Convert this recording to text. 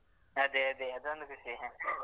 ಅದೇ ಅದೇ ಅದೊಂದು ಖುಷಿ